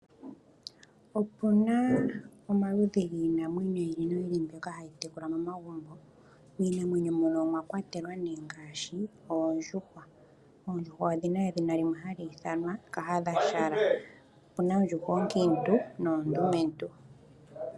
Opu na omaludhi ogendji giinamwenyo mbyoka ha yi tekulwa momagumbo ngaashi: oondjuhwa. Oondjuhwa oha dhi ithanwa kahadhashala nedhina limwe, dhimwe oonkiintu nadhimwe oondumentu.